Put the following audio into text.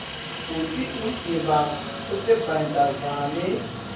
kutsi umtimba usebenta njani